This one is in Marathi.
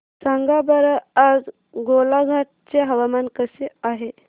सांगा बरं आज गोलाघाट चे हवामान कसे आहे